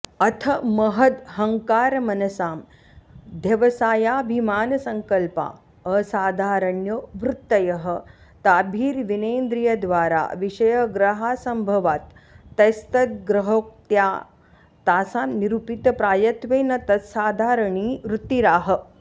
अथ महदहङ्कारमनसामध्यवसायाभिमानसङ्कल्पा असाधारण्यो वृत्तयः ताभिर्विनेन्द्रियद्वारा विषयग्रहासम्भवात् तैस्तद्ग्रहोक्त्या तासां निरूपितप्रायत्वेन तत्साधारणी वृत्तिराह